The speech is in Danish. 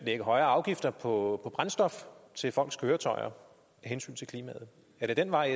lægge højere afgifter på brændstof til folks køretøjer er det den vej